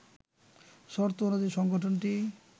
শর্ত অনুযায়ী সংগঠনটি